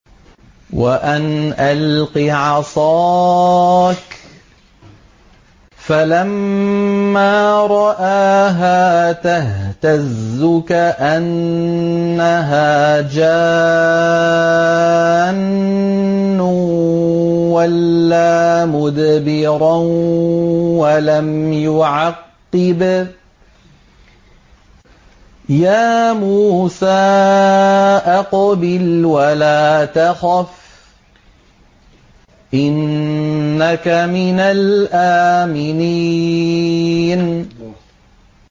وَأَنْ أَلْقِ عَصَاكَ ۖ فَلَمَّا رَآهَا تَهْتَزُّ كَأَنَّهَا جَانٌّ وَلَّىٰ مُدْبِرًا وَلَمْ يُعَقِّبْ ۚ يَا مُوسَىٰ أَقْبِلْ وَلَا تَخَفْ ۖ إِنَّكَ مِنَ الْآمِنِينَ